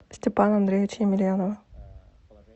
степана андреевича емельянова